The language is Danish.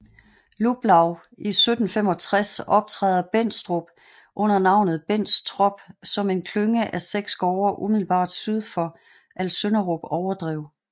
Luplau i 1765 optræder Bendstrup under navnet Benstrop som en klynge af 6 gårde umiddelbart syd for Alsønderup Overdrev